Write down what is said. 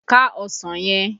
Ká ọsàn yẹn!